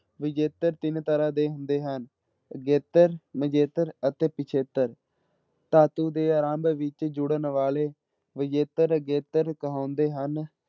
ਵਿਜੇਤਰ ਤਿੰਨ ਤਰ੍ਹਾਂ ਦੇ ਹੁੰਦੇ ਹਨ, ਅਗੇਤਰ, ਵਿਜੇਤਰ ਅਤੇ ਪਿੱਛੇਤਰ, ਧਾਤੂ ਦੇ ਆਰੰਭ ਵਿੱਚ ਜੁੜਨ ਵਾਲੇ ਵਿਜੇਤਰ ਅਗੇਤਰ ਕਹਾਉਂਦੇ ਹਨ।